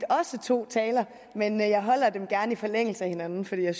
også to taler men jeg holder dem gerne i forlængelse af hinanden for jeg